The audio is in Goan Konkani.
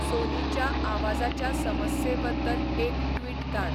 सोनीच्या आवाजाच्या समस्येबद्दल एक ट्वीट धाड